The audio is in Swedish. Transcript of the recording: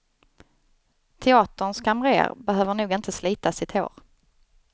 Teaterns kamrer behöver nog inte slita sitt hår.